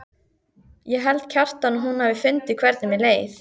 Ég held, Kjartan, að hún hafi fundið hvernig mér leið.